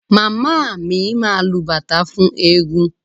Màmá mi máa lu bàtá fún ẹẹ́gun.